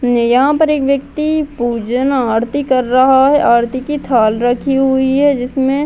यहां पर एक व्यक्ति पूज ना आरती कर रहा है आरती की थाल रखी हुई है जिसमे --